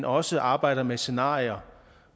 også arbejder med scenarier